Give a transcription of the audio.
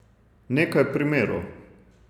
Nekaj primerov.